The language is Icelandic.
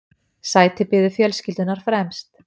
Sæti biðu fjölskyldunnar fremst.